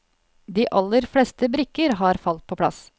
De aller fleste brikker har falt på plass.